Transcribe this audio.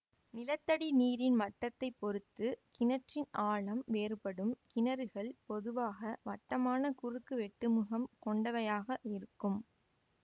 நிலத்தடி நீரின் மட்டத்தைப் பொறுத்து கிணற்றின் ஆழம் வேறுபடும் கிணறுகள் பொதுவாக வட்டமான குறுக்கு வெட்டுமுகம் கொண்டவையாக இருக்கும்